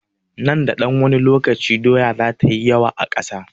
Nan da ɗan wani lokaci, doya za ta yi yawa a kasuwa.